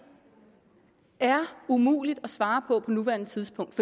er umuligt at svare på på nuværende tidspunkt